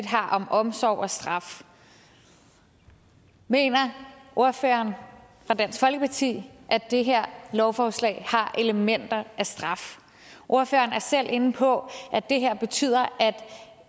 har om omsorg og straf mener ordføreren fra dansk folkeparti at det her lovforslag har elementer af straf ordføreren er selv inde på at det her betyder at